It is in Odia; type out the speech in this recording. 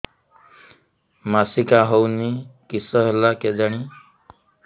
ମାସିକା ହଉନି କିଶ ହେଲା କେଜାଣି